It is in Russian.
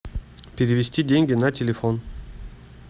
перевести деньги на телефон